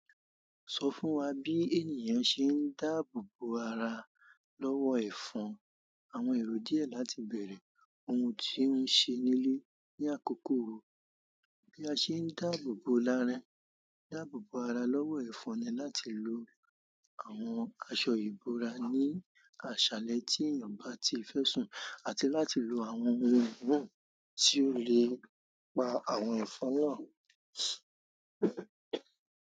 Sọ fún wa bí ènìyàn ṣe ń dáàbò bo ara lọ́wọ́ ẹ̀fọn. Àwọn ẹ̀rọ díẹ̀ láti bẹ̀rẹ̀, ohun tí ó ń ṣe nílé ní àkókò wo, bí a ṣe ń dáàbò bo ara lọ́wọ́ ẹ̀fọn ni láti lo àwọn aṣọ ìbora ní àṣálẹ́ tí èèyàn bá ti fẹ́ sùn àti láti lo àwọn ohun ná tí ó le pa àwọn ẹ̀fọn náà.